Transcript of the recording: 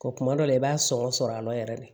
Ko kuma dɔ la i b'a sɔngɔ sɔrɔ a la yɛrɛ de